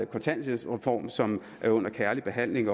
kontanthjælpsreform som er under kærlig behandling